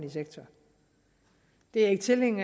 eksempel en